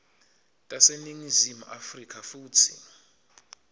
taseningizimu afrika futsi